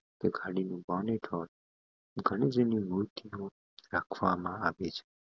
રાખવામાં આવે છે